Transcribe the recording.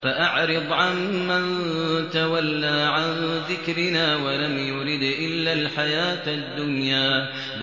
فَأَعْرِضْ عَن مَّن تَوَلَّىٰ عَن ذِكْرِنَا وَلَمْ يُرِدْ إِلَّا الْحَيَاةَ الدُّنْيَا